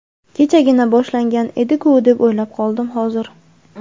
Kechagina boshlangan edi-ku deb o‘ylab qoldim hozir.